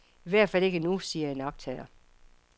I hvert fald ikke nu, siger en iagttager.